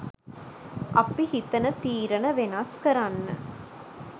අපි හිතන තීරණ වෙනස් කරන්න